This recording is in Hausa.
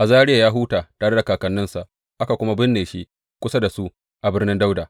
Azariya ya huta tare da kakanninsa, aka kuma binne shi kusa da su a Birnin Dawuda.